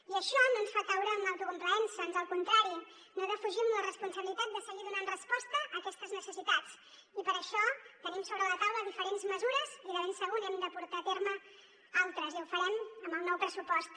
i això no ens fa caure en l’autocomplaença ans al contrari no defugim la responsabilitat de seguir donant resposta a aquestes necessitats i per això tenim sobre la taula diferents mesures i de ben segur n’hem de portar a terme d’altres i ho farem amb el nou pressupost